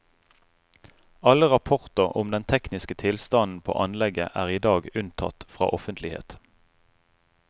Alle rapporter om den tekniske tilstanden på anlegget er i dag unntatt fra offentlighet.